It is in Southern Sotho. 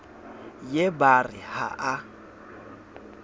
ye ba re ha a